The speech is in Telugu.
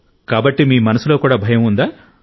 కాబట్టి మీ మనసులో కూడా భయం ఉందా